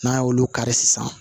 N'a y'olu kari sisan